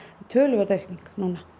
töluverð aukning